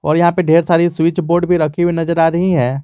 और यहां पे ढेर सारी स्विच बोर्ड भी रखी हुई नजर आ रही हैं।